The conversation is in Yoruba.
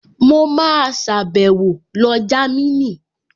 Mo máa sàbẹ̀wo lọ Jámínì